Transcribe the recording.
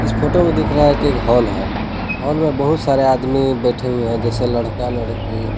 इस फोटो ने दिख रहा की एक हॉल है हॉल में बहुत सारे आदमी बैठे हुए है जैसे लड़का लड़की।